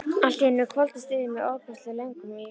Allt í einu hvolfdist yfir mig ofboðsleg löngun í vín.